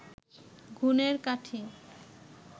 গুণের কাঠি